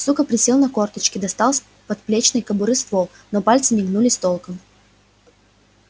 сука присел на корточки достал из подплечной кобуры ствол но пальцы не гнулись толком